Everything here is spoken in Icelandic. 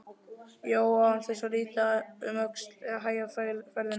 Jón án þess að líta um öxl eða hægja ferðina.